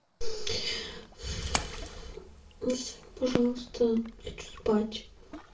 ну сань пожалуйста хочу спать